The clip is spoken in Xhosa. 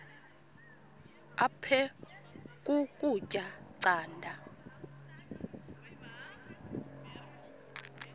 aphek ukutya canda